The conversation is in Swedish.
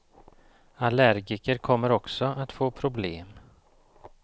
Allergiker kommer också att få problem.